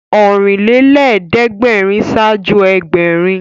Ọ̀rìnlélẹ́ẹ̀dẹ́gbèrin ṣáájú Ẹgbẹ̀rin